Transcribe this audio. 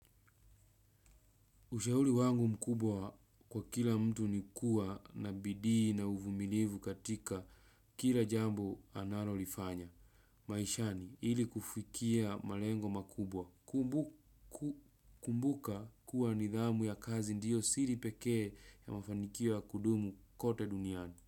Ushauri wangu mkubwa kwa kila mtu nikuwa na bidii na uvumilivu katika kila jambo analo lifanya. Maishani ili kufikia malengo makubwa. Kumbuka kuwa nidhamu ya kazi ndiyo siripekee ya mafanikio ya kudumu kote duniani.